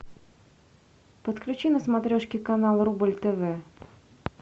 подключи на смотрешке канал рубль тв